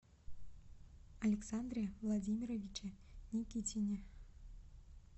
александре владимировиче никитине